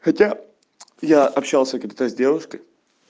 хотя я общался когда с девушкой